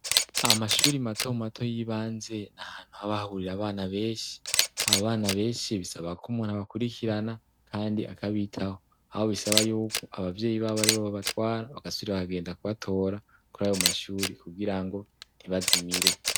Amashuri mato mato y'ibanze ni ahantu haba bahurira abana benshi. Abana benshi bisaba ko umuntu abakurikirana kandi akabitaho. Aho bisaba y'uko abavyeyi babo aribo babatwara, bagasubira bakagenda kubatora kuri ayo mashuri kugira ngo ntibazimire.